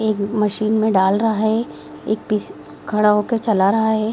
एक मशीन में डाल रहा है। एक पीस खड़ा होकर चला रहा है।